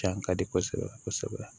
Can ka di kosɛbɛ kosɛbɛ